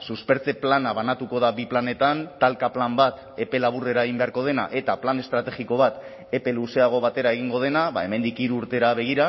suspertze plana banatuko da bi planetan talka plan bat epe laburrera egin beharko dena eta plan estrategiko bat epe luzeago batera egingo dena hemendik hiru urtera begira